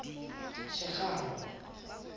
sekgalo